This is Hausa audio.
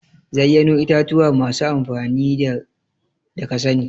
zayyano itatuwa masu amfani da kasani.